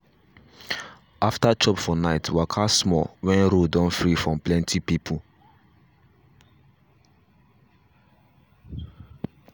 after chop for night waka small when road don free from plenty people.